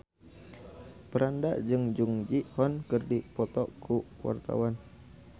Franda jeung Jung Ji Hoon keur dipoto ku wartawan